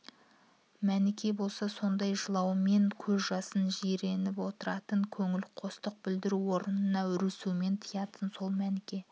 мәніке болса сондай жылау мен көз жастан жиреніп отыратын көңілқостық білдіру орнына үрсумен тыятын сол мәніке